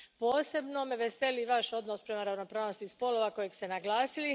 Posebno me veseli Vaš odnos prema ravnopravnosti spolova, kojeg ste naglasili.